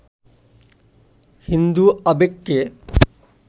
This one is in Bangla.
হিন্দু আবেগকে